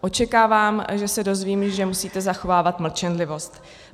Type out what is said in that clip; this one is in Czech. Očekávám, že se dozvím, že musíte zachovávat mlčenlivost.